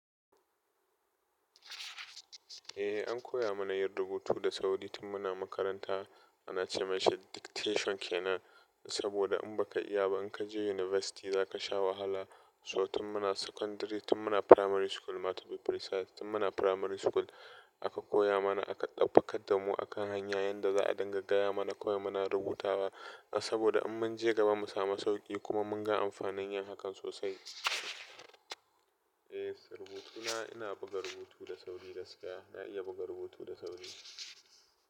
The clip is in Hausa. Eh an koya mana yin rubutu da sauri tun muna makaranta ana ce mashi dictation ke nan, saboda in baka iya ba in ka je university za ka sha wahala, So tun muna secondary, tun muna primary school ma to be precise, tun muna primary school, aka koya mana, aka ɗabbaƙar damu akan hanya yanda za a dinga gaya mana kawai muna rubutawa, saboda in mun je gaba mu samu sauƙi, kuma mun ga amfanin yin hakan sosai. Yes, rubutuna ina buga rubutu da sauri gaskiya, na iya buga rubutu da sauri.